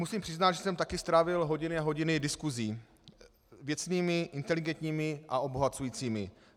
Musím přiznat, že jsem také strávil hodiny a hodiny diskusí - věcnými, inteligentními a obohacujícími.